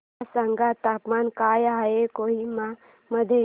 मला सांगा तापमान काय आहे कोहिमा मध्ये